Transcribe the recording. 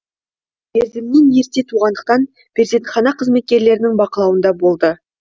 мерзімінен ерте туғандықтан перзентхана қызметкерлерінің бақылауында болды